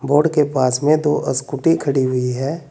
Board के पास में दो स्कूटी खड़ी हुई है।